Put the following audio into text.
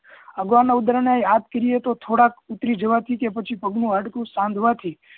અગાઉના ઉદાહરણો એ યાદ કરીએ તો થોડાક કે પગનું હાડકું સાધવા થી